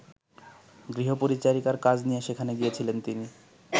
গৃহপরিচারিকার কাজ নিয়ে সেখানে গিয়েছিলেন তিনি।